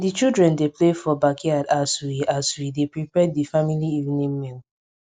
di children dey play for backyard as we as we dey prepare di family evening meal